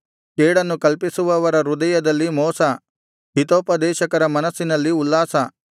ಕೇಡನ್ನು ಕಲ್ಪಿಸುವವರ ಹೃದಯದಲ್ಲಿ ಮೋಸ ಹಿತೋಪದೇಶಕರ ಮನಸ್ಸಿನಲ್ಲಿ ಉಲ್ಲಾಸ